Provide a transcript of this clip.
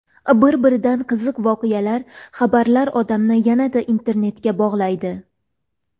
Bir-biridan qiziq voqealar, xabarlar odamni yanada internetga bog‘laydi.